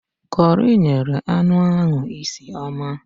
Kọri nyere anụ ahụ isi ọma